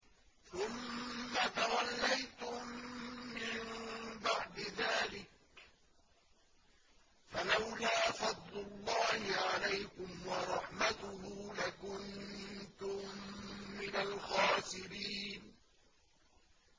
ثُمَّ تَوَلَّيْتُم مِّن بَعْدِ ذَٰلِكَ ۖ فَلَوْلَا فَضْلُ اللَّهِ عَلَيْكُمْ وَرَحْمَتُهُ لَكُنتُم مِّنَ الْخَاسِرِينَ